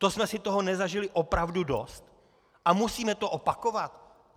To jsme si toho nezažili opravdu dost a musíme to opakovat?